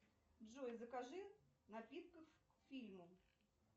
джой закажи напитков к фильму